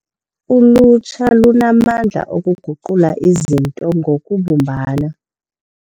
Ulutsha lunamandla okuguqula izinto ngokubumbana.